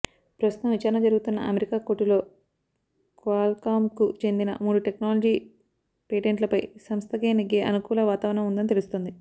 ప్రస్తుతం విచారణజరుగుతున్న అమెరికా కోర్టులో క్వాల్కామ్కు చెందిన మూడు టెక్నాలజీ పేటెంట్లపై సంస్థకే నెగ్గే అనుకూల వాతావరణం ఉందని తెలుస్తోంది